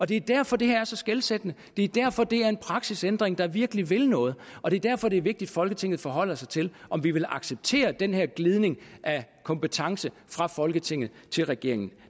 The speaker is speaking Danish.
det er derfor det her er så skelsættende det er derfor det er en praksisændring der virkelig vil noget og det er derfor det er vigtigt at folketinget forholder sig til om vi vil acceptere den her glidning af kompetence fra folketinget til regeringen